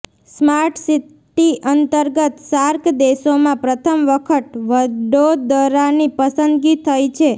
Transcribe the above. smart city અંતર્ગત SAARC દેશોમાં પ્રથમ વખત વડોદરાની પસંદગી થઈ છે